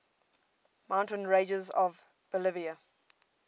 mountain ranges of bolivia